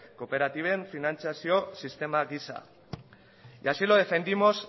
kooperatiben finantziazio sistema gisa y así lo defendimos